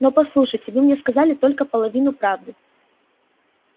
но послушайте вы мне сказали только половину правды